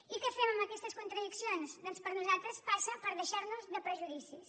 i què fem amb aquestes contradiccions doncs per nosaltres passa per deixar nos de prejudicis